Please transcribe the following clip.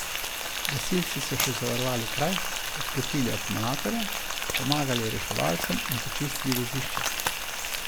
Gasilci so še zavarovali kraj, odklopili akumulatorja, pomagali reševalcem in počistili vozišče.